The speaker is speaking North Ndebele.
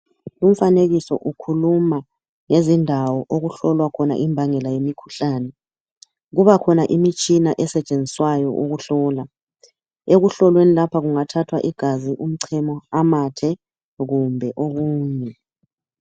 Umfanekiso ukhuluma ngezindawo okuhlolwa khona imbangela yemikhuhlane. Kubakhona imitshina esetshenziswayo ukuhlola. Ekuhlolweni lapha kungathwa igazi, umchemo, amathe kumbe okunye..